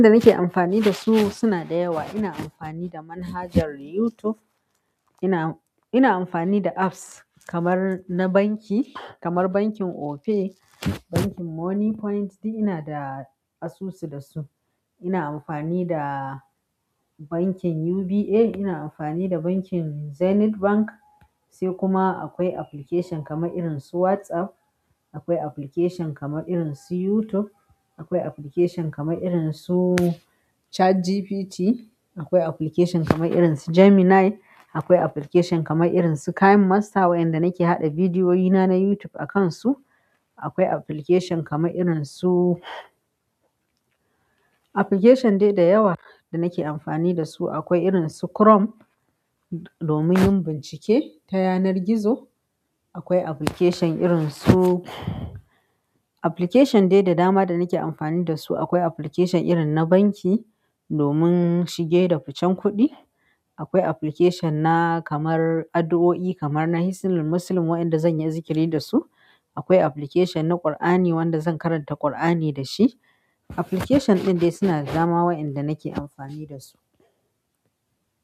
Wanda nake amfani da su suna da yawa. Ina amfani da manhajar YouTube. Ina, ina amfani da apps kamar na banki, kamar bankin Opay, bankin Money Point. Duk ina da asusu da su. Ina amfani da bankin UBA. Ina amfani da bankin Zenith Bank. Sai kuma akwai application kamar irin su WhatsApp. Akwai application kama irin su YouTube. Akwai application kama irin su ChatGPT. Akwai application kama irin su Gemini. Akwai application kamar irin su kine master wanda nake haɗa bidiyoyina na YouTube akansu akwai application kama irin su-- application dai da yawa da nake amfani da su. Akwai irin su Chrome domin yin bincike ta yanar gizo. Akwai application irin su-- application dai da dama da nake amfani da su. Akwai application irin na banki domin shige da ficen kuɗi. Akwai application na kamar addu'o'i kamar hisnul Muslim waɗanda zan yi zikiri da su. Akwai application na Kur'ani wanda zan karanta Kur'ani da shi. Application ɗin dai suna da dama wainda nake amfani da su.